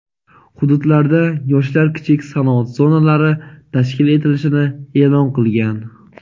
hududlarda Yoshlar kichik sanoat zonalari tashkil etilishini e’lon qilgan.